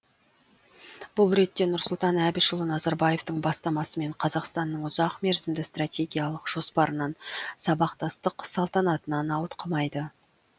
бұл ретте нұрсұлтан әбішұлы назарбаевтың бастамасымен қазақстанның ұзақ мерзімді стартегиялық жоспарынан сабақтастық салтанатынан ауытқымайды